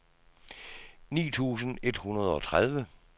ni tusind et hundrede og tredive